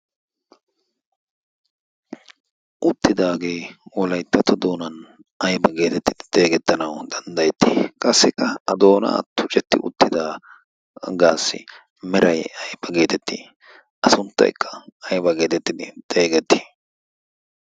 uttidaagee olaittatto doonan aiba geetettidi xeegettanau danddayettii qassika a doona attu cetti uttida gaassi merai ayfa geetetti a sunttaikka aiba geetettidi xeegetti?